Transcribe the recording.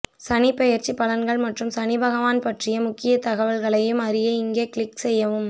சனிப் பெயர்ச்சிப் பலன்கள் மற்றும் சனிபகவான் பற்றிய முழுத்தகவல்களையும் அறிய இங்கே க்ளிக் செய்யவும்